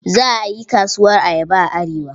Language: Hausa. Za a yi kasuwar ayaba a Arewa.